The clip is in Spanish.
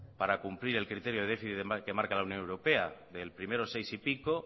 para cumplir el criterio de déficit que marca la unión europea del primero seis y pico